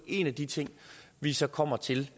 en af de ting vi så kommer til